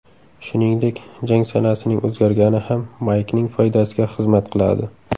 Shuningdek, jang sanasining o‘zgargani ham Maykning foydasiga xizmat qiladi.